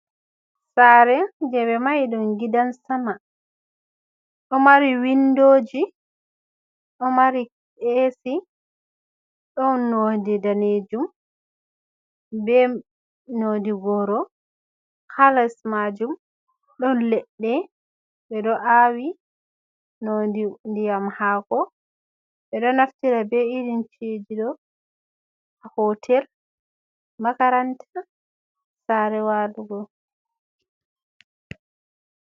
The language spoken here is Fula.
Sare je ɓe mahi ɗum gidan sama. Ɗo mari windoji, ɗo mari esi, ɗon nodi danejum be nodi goro. Ha les majum ɗon leɗɗe ɓeɗo awi ndiyam haako. Ɓeɗo naftira be irin ci'eji ɗo ha hotel, makaranta, sare walugo.